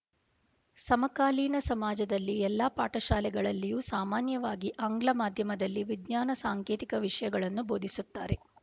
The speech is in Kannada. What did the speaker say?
ಸಮಕಾಲೀನ ಸಮಾಜದಲ್ಲಿ ಎಲ್ಲಾ ಪಾಠಶಾಲೆಗಳಲ್ಲಿಯೂ ಸಾಮಾನ್ಯವಾಗಿ ಆಂಗ್ಲ ಮಾಧ್ಯಮದಲ್ಲಿ ವಿಜ್ಞಾನ ಸಾಂಕೇತಿಕ ವಿಷ ಯಗಳನ್ನು ಬೋಧಿಸುತ್ತಿದ್ದಾರೆ